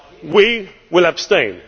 We will abstain.